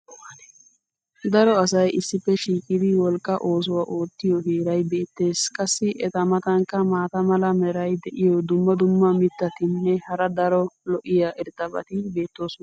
Daro asay issippe shiiqidi wolqaa oosuwa oottiyo heeray beetees. qassi eta matankka maata mala meray diyo dumma dumma mitatinne hara daro lo'iya irxxabati beetoosona.